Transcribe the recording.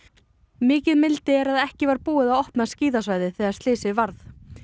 mikil mildi er að ekki var búið að opna skíðasvæðið þegar slysið varð